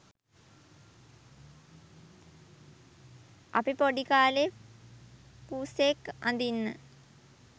අපි පොඩි කාලේ පුසෙක් අඳින්න